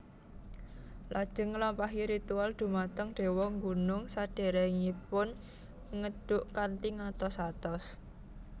Lajeng nglampahi ritual dhumateng dewa gunung sadèrèngipun ngedhuk kanthi ngatos atos